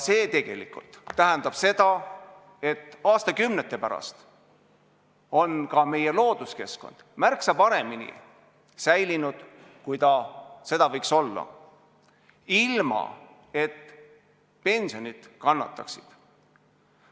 See tegelikult tähendab seda, et aastakümnete pärast on ka meie looduskeskkond märksa paremini säilinud, kui ta seda võiks olla, ilma et pensionid kannataksid.